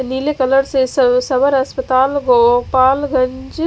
नीले कलर से स्व स्वर अस्पताल गोपाल गंज--